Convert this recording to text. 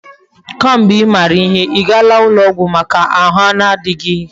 Ke mgbe imara ihe, igaala ulo ogwu Maka ahu na adighi gi?